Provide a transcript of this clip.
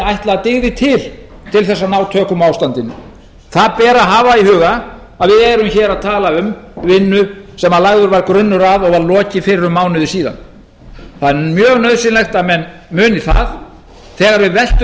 ætla að dygði til til þess að ná tökum á ástandinu það ber að hafa í huga að við erum hér að tala um vinnu sem lagður var grunnur að og var lokið fyrir um mánuði síðan það er mjög nauðsynlegt að menn muni það þegar við veltum